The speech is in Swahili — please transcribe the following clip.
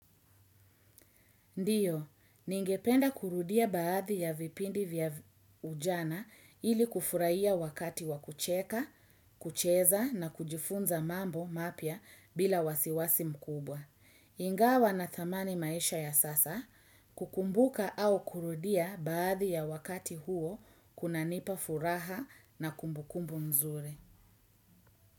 Ndiyo, ningependa kurudia baadhi ya vipindi vya ujana ili kufurahia wakati wa kucheka, kucheza na kujifunza mambo mapya bila wasiwasi mkubwa. Ingawa nathamani maisha ya sasa, kukumbuka au kurudia baadhi ya wakati huo kunanipa furaha na kumbukumbu mzuri.